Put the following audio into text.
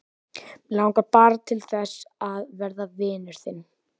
Mig langar bara til þess að verða vinur þinn.